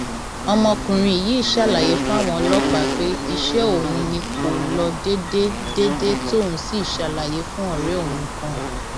ọmọkùnrin yìí ṣàlàyé fáwọn ọlọpàá pé iṣẹ òun ni kó lọ déédé déédé tóun sì ṣàlàyé fún ọrẹ òun kan